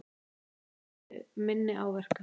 Aðrir hlutu minni áverka